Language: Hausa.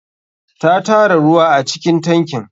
Ta tara ruwa acikin tankin.